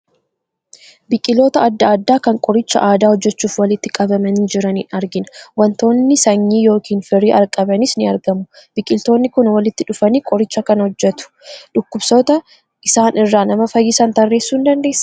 Biqiltoota adda addaa kan qoricha aadaa hojjechuuf walitti qabamanii jiran argina. Waantonni sanyii yookiin firii qabanis ni argamu. Biqiltoonni kun walitti dhufanii qoricha kana hojjetu. Dhukkuboota isaan irraa nama fayyisan tarreessuu dandeessaa?